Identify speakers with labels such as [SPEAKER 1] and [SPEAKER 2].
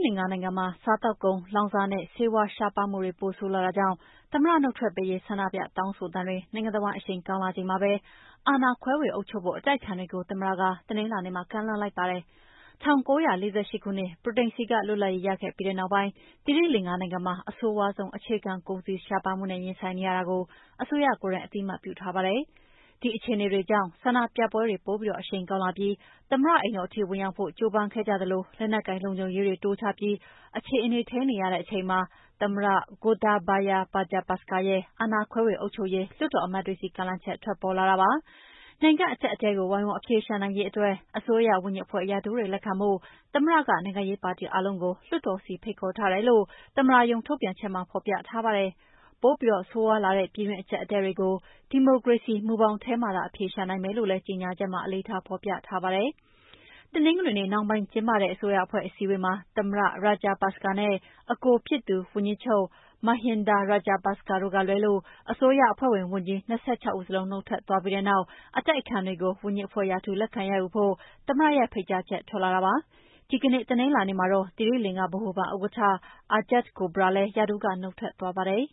[SPEAKER 1] လင်္ကာနိုင်ငံမှာ စားသောက်ကုန်၊ လောင်စာနဲ့ ဆေးဝါးရှားပါးမှုတွေ ပိုဆိုးလာတာကြောင့် သမ္မတနုတ်ထွက်ပေးရေး ဆန္ဒပြတောင်းဆိုသံတွေ နိုင်ငံတဝန်း အရှိန်ကောင်းလာချိန်မှာပဲ အာဏာခွဲဝေအုပ်ချုပ်ဖို့ အတိုက်အခံတွေကို သမ္မတက တနင်္လာနေ့မှာ ကမ်းလှမ်းလိုက်ပါတယ်။ ၁၉၄၈ ခုနှစ် ဗြိတိန်ဆီကလွတ်လပ်ရေးရခဲ့ပြီးတဲ့နောက်ပိုင်း သိရီလင်္ကာနိုင်ငံမှာ အဆိုးရွားဆုံး အခြေခံကုန်စည် ရှားပါးမှုနဲ့ရင်ဆိုင်နေရတာကို အစိုးရကိုယ်တိုင် အသိအမှတ်ပြုထားပါတယ်။ ဒီအခြေအနေတွေကြောင့်ဆန္ဒပြပွဲတွေပိုပြီးအရှိန်ကောင်းလာပြီး သမ္မတအိမ်တော်ထိ ဝင်ရာက်ဖို့ ကြိုးပမ်းခဲ့ကြသလို လက်နက်ကိုင် လုံခြုံရေးတွေတိုးချပြီး အခြေအနေထိန်းနေရတဲ့အချိန်မှာ အာဏာခွဲဝေအုပ်ချုပ်ရေး လွှတ်တော်အမတ်တွေဆီ သမ္မတ Gotabaya Rajapaksa ရဲ့ ကမ်းလှမ်းချက်ထွက်ပေါ်လာတာပါ။ နိုင်ငံ့အကြပ်အတည်းကို ဝိုင်းဝန်းအဖြေရှာနိုင်ရေးအတွက် အစိုးရဝန်ကြီးအဖွဲ့ ရာထူးတွေလက်ခံဖို့ သမ္မတက နိုင် ငံရေးပါတီအားလုံးကို လွှတ်တော်ဆီ ဖိတ်ခေါ်ထားတယ်လို့ သမ္မတရုံးထုတ်ပြန်ချက်မှာ ဖော်ပြထားပါတယ်။ ပိုပြီးဆိုးရွားလာတဲ့ ပြည်တွင်း အကြပ်အတည်းတွေကို ဒီမိုကရေစီမူဘောင်ထဲမှာသာ အဖြေရှာနိုင်မယ်လို့လည်း ကြေငြာချက်မှာ အလေးထားဖော်ပြထားပါတယ်။ တနင်္ဂနွေနေ့နှောင်းပိုင်းကျင်းပတဲ့ အစိုးရအဖွဲ့ အစည်းအဝေးမှာ သမ္မတ Rajapaksa နဲ့ အကိုဖြစ်သူ ဝန်ကြီးချုပ် Mahinda Rajapaksa တို့ကလွဲလို့ အစိုးရအဖွဲ့ဝင် ဝန်ကြီး၂၆ ဦးစလုံး နုတ်ထွက်သွားပြီးတဲ့နောက် အတိုက်အခံတွေကို ဝန်ကြီးအဖွဲ့ရာထူး လက်ခံရယူကြဖို့ သမ္မတရဲ့ ဖိတ်ကြားချက် ထွက်လာတာလည်းဖြစ်ပါတယ်။ ဒီကနေ့ တနင်္လာနေ့မှာတော့ သီရိလင်္ကာ ဗဟိုဘဏ်ဥက္ကဋ္ဌ Ajith Cabraal လည်း ရာထူးက နုတ်ထွက်သွားပါတယ်